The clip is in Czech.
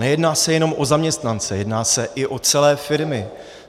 Nejedná se jenom o zaměstnance, jedná se i o celé firmy.